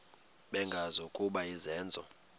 bengazi ukuba izenzo